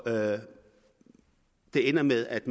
det ender med at